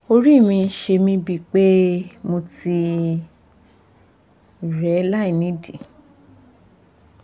orí mi ń ṣe mí bíi pé mo ti rẹ́ láìnídìí